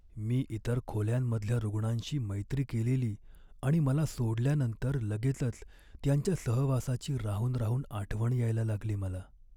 मी इतर खोल्यांमधल्या रूग्णांशी मैत्री केलेली आणि मला सोडल्यानंतर लगेचच त्यांच्या सहवासाची राहून राहून आठवण यायला लागली मला.